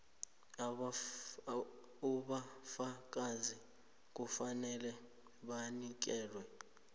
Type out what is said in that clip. ubufakazi kufanele bunikelwe